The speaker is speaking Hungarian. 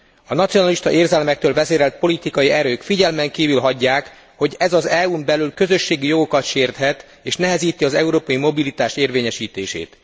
A nacionalista érzelmektől vezérelt politikai erők figyelmen kívül hagyják, hogy ez az EU n belül közösségi jogokat sérthet, és nehezíti az európai mobilitás érvényesítését.